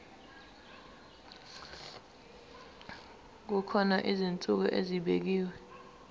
kukhona izinsuku ezibekiwe